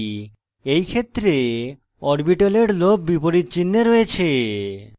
in ক্ষেত্রে orbitals lobes বিপরীত চিনহে থাকে